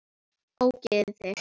Ógeðið þitt!